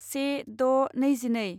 से द' नैजिनै